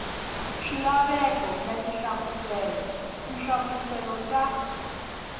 swilaveko na tinhlamuselo tinhlamuselo ta